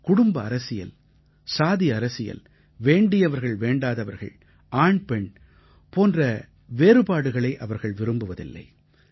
குடும்ப அரசியல் சாதி அரசியல் வேண்டியவர்கள் வேண்டாதவர்கள் ஆண் பெண் போன்ற வேறுபாடுகளை அவர்கள் விரும்புவதில்லை